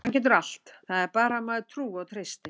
Hann getur allt, það er bara að maður trúi og treysti.